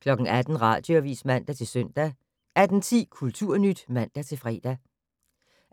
18:00: Radioavis (man-søn) 18:10: Kulturnyt (man-fre)